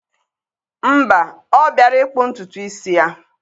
Mba, ọ bịara ịkpụ ntutu isi ya.